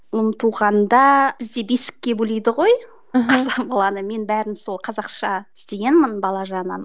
ұлым туғанда бізде бесікке бөлейді ғой мен бәрін сол қазақша істегенмін бала жағынан